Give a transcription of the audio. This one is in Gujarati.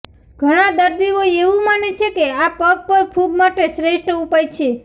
ઘણા દર્દીઓ એવું માને છે કે આ પગ પર ફુગ માટે શ્રેષ્ઠ ઉપાય છે